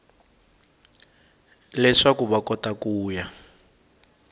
leswaku va kota ku ya